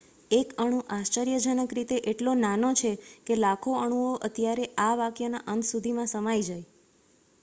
એક અણુ આશ્ચર્યજનક રીતે એટલો નાનો છે કે લાખો અણુઓ અત્યારે આ વાકયના અંત સુધીમાં સમાઈ જાય